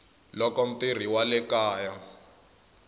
loko mutirhi wa le kaya